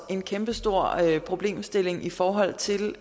er en kæmpestor problemstilling i forhold til